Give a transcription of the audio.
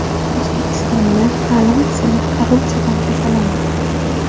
O‘zbekistonda ta’lim tizimi korrupsiyadan tozalanmoqda.